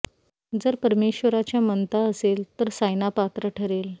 जर परमेश्वराच्या मनता असेल तर सायना पात्र ठरेल